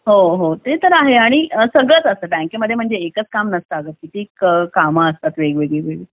हो हो ते तर आहे आणि सगळंच असतं बँकेमध्ये म्हणजे एकच काम नसतं किती काम असतात वेगवेगळी